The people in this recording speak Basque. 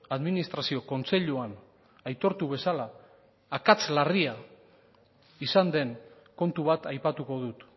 administrazio kontseiluan aitortu bezala akats larria izan den kontu bat aipatuko dut